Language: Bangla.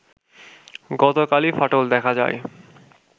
গতকালই ফাটল দেখা যায়